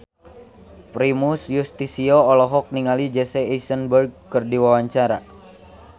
Primus Yustisio olohok ningali Jesse Eisenberg keur diwawancara